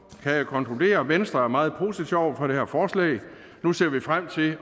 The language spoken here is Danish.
jeg konkludere at venstre er meget positiv over for det her forslag nu ser vi frem til